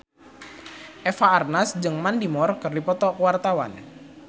Eva Arnaz jeung Mandy Moore keur dipoto ku wartawan